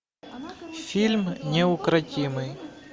фильм неукротимый